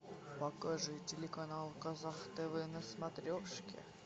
покажи телеканал казах тв на смотрешке